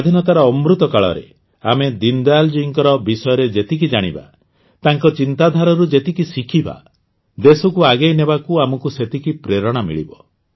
ସ୍ୱାଧୀନତାର ଅମୃତକାଳରେ ଆମେ ଦୀନଦୟାଲଙ୍କ ବିଷୟରେ ଯେତିକି ଜାଣିବା ତାଙ୍କ ଚିନ୍ତାଧାରାରୁ ଯେତିକି ଶିଖିବା ଦେଶକୁ ଆଗେଇ ନେବାକୁ ଆମକୁ ସେତିକି ପ୍ରେରଣା ମିଳିବ